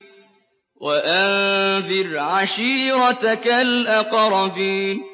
وَأَنذِرْ عَشِيرَتَكَ الْأَقْرَبِينَ